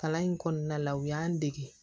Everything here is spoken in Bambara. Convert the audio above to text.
Kalan in kɔnɔna la u y'an dege